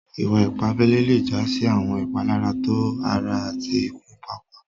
Ìwà-ìpà àbèlè lè já sí àwọn ìpàlàrá tó ara àti ìkù pààpàà.